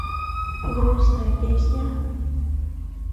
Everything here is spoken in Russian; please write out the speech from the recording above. грустная песня